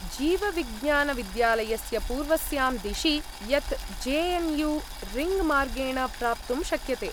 जीवविज्ञानविद्यालयस्य पूर्वस्यां दिशि, यत् जे एन् यू रिङ्ग्मार्गेण प्राप्तुं शक्यते।